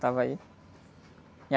Estava aí.